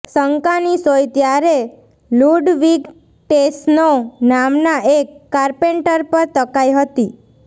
શંકાની સોય ત્યારે Ludwig Tessnow નામનાં એક કાર્પેન્ટર પર તકાઇ હતી